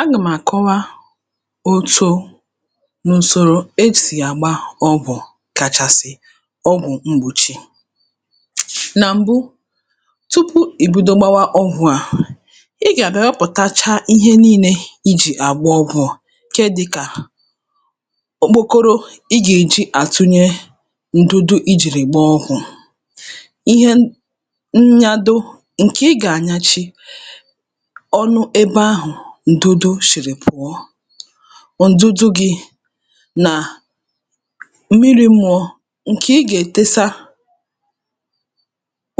agà-m̀ àkọwa òtù nà ùsòrò e sì àgba ọgwụ̀ kàchàsì ọgwụ̀ mgbòchi nà m̀bụ tupu ì bido gbawa ọgwụ̄ à ị gà-àbịa wepụ̀tachaa ihe niilē i jì àgba ọgwụ̀ ṅ̀ke dịkà okpokoro ị gà-èji àtụnye ǹdụdụ i jì gba ọ̣gwụ̀ ihen nnyado ṅ̀kè ị gà-ànyachi ọnụ ebe ahụ̀ ǹdụdụ sìrì pụ̀ta ǹdụdụ gị̄ nà m̀mirī mmụ̄ọ̄ ṅ̀kè ị gà-ètesa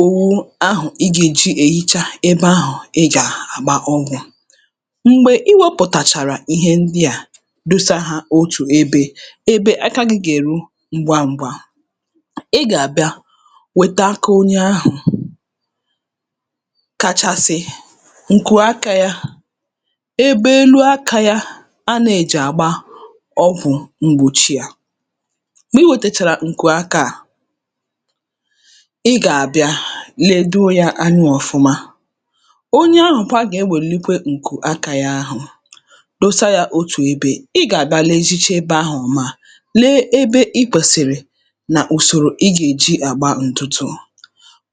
òwu ahụ̀ ị gà-èji èhicha ebe ahụ̀ ị gà-àgba ọgwụ̀ m̀gbè i wepùtàchàrà ihe ndi à dosa hā otù ebē ebe aka gị̄ gà-èru ṅgwaṅ̄gwā ị gà-àbịa wèta aka onye ahụ̀ kachasị ǹkù akā yā ebe elu ākā yā a na-èjì àgba ọgwụ̀ mgbòchi à m̀gbè i wètèchàrà ṅ̀kù akā à ị gà-àbịa ledoo yā anya ọ̀fụma onye ahụ̀ kwa gà-ewèlite ṅ̀kù akā yā ahụ̀ dosa yā otù ebē ị gà-àbịa lezicha ebe ahụ̀ mma lee ebe ị kwèsị̀rị̀ nà ùsòrò ị̣ gà-èji àgba ǹtụtụ̄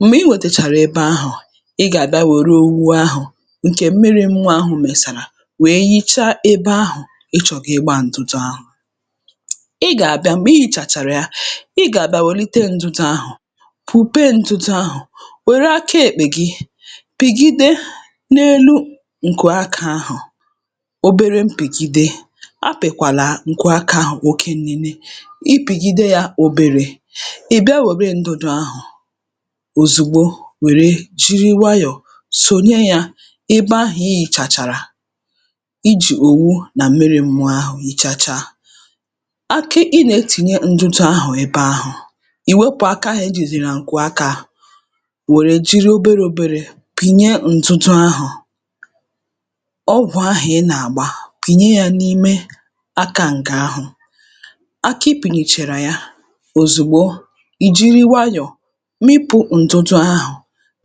m̀gbè i nwètèchàrà ebe ahụ̀ ị gà-àbịa wère owu ahụ̀ ṅ̀kè mmiri mmụ̄ọ̄ ahụ mèsàrà wèe hichaa ebe ahụ̀ ̣ chọ̀ọ kà ị gbaa ntụtụ ahụ̀ ị gà-àbịa m̀gbè i hìchàchàrà ya ị gà-àbịa wèlite ǹdụdụ̄ ahụ̀ kwùpee ntụtụ ahụ̀ wère aka èkpè gi pìgide n'elu ṅ̀kù aka ahụ̀ obere mpìgide apịkwàlà ṅ̀kù aka ahụ̀ oke nine ị pị̀gide yā oberē ị bịa wère ndụdụ ahụ̀ òzùgbo wère jiri nwaayọ sònye yā ebe ahụ̀ i hìchàchàrà i jì òwu nà miri mmụọ ahụ̀ hichachaa aka ị nà-etìnye ndụdụ ahụ̀ ebe ahụ̀ i wepụ̀ aka ahụ̀ i jìzì ṅ̀kù akā wère jiri oberē oberē pìnye ndụdụ ahụ̀ ọgwụ̀ ahụ̀ ị nà-àgba tìnye yā n’ime aka ṅ̀kè ahụ̀ aka i pìnyèchàrà ya òzùgbo ì jiri nwayọ mịpụ̄ ǹdụdụ ahụ̀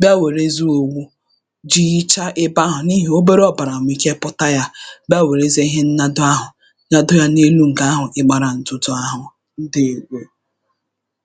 bịa wèrezie owu tiichaa ebe ahụ n’ihì obere ọ̀bàrà nwèrè ike pụ̀ta ebe ahụ̀ bịa wèrezie ihe nnado ahụ̀ tado yā n’elu ṅ̀gà ahụ̀ ị̣gbārā ǹtụ̀tụ̀ ahụ̀ ǹdeèwo